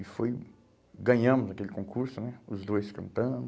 E foi ganhamos aquele concurso né, os dois cantando.